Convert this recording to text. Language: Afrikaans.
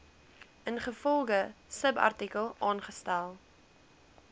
ingevolge subartikel aangestel